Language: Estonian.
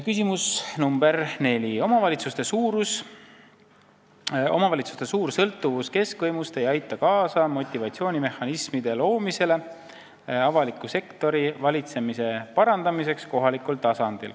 Küsimus nr 4: "Omavalitsuste suur sõltuvus keskvõimust ei aita kaasa motivatsioonimehhanismide loomisele avaliku sektori valitsemise parandamiseks kohalikul tasandil.